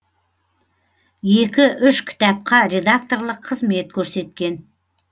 екі үш кітапқа редакторлық қызмет көрсеткен